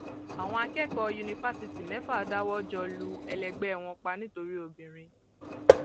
àwọn akẹkọọ yunifásitì mẹfà dáwọ jọ lu ẹlẹgbẹ wọn pa nítorí obìnrin